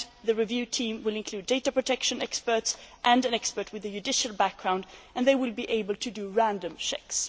The review team will include data protection experts and an expert with a judicial background and they will be able to do random checks.